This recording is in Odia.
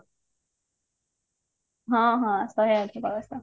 ହଁ ହଁ ଶହେ ଆଠ କଳସ